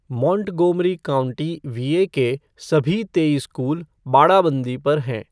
Montgomery county, VA के सभी तेईस स्कूल बाड़ाबंदी पर हैं।